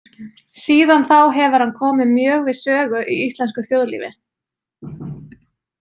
Síðan þá hefur hann komið mjög við sögu í íslensku þjóðlífi.